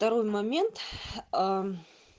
второй момент а